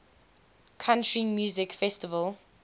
country music festival